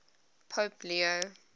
pope leo